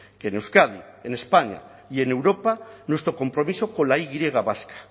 que en euskadi en españa y en europa nuestro compromiso con la y vasca